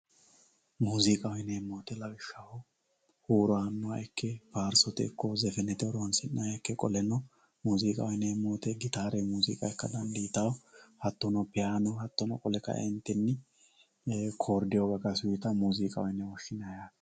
Muziiqaho yineemmo woyte lawishshaho huuro aanoha ikke faarsote ikko sirbaho qoleno muziiqaho yineemmo woyte gittare kiborde hattono fayino kodeo uyittano.